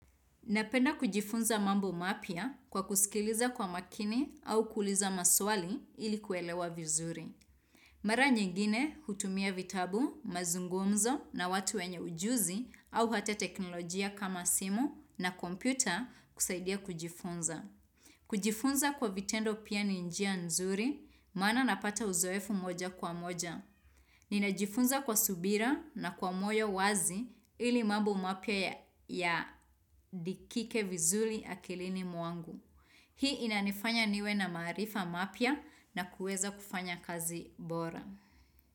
Napenda kujifunza mambo mapya kwa kusikiliza kwa makini au kuuliza maswali ili kuelewa vizuri. Mara nyingine hutumia vitabu, mazungumzo na watu wenye ujuzi au hata teknolojia kama simu na kompyuta kusaidia kujifunza. Kujifunza kwa vitendo pia ni njia nzuri, maana napata uzoefu moja kwa moja. Ninajifunza kwa subira na kwa moyo wazi ili mambo mapya ya andikike vizuri akilini mwangu. Hii inanifanya niwe na maarifa mapya na kueza kufanya kazi bora.